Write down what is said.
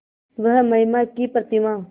वह महिमा की प्रतिमा